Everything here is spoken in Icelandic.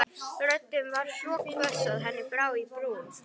Röddin var svo hvöss að henni brá í brún.